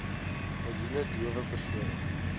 miljoen dowe persone